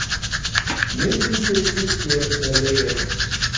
Myndin birtist hér með leyfi hans.